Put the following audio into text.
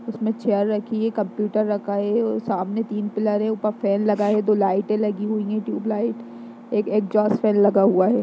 उसमें चेयर रखी है कंप्यूटर रखा है और सामने तीन पिलर हैं ऊपर फैन लगा है दो लाइटें लगी हुयी हैं ट्यूब लाइट । एक एक्सहॉस्ट फैन लगा हुआ है।